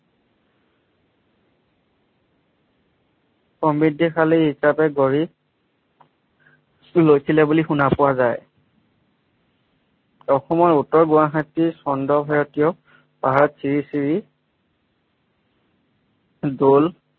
সমৃদ্ধি শালী হিচাপে গঢ়ি লৈছিলে বুলি শুনা পোৱা যায়। অসমৰ উত্তৰ গুৱাহাটী চন্দ্ৰ পাহাৰত শ্ৰী শ্ৰী দল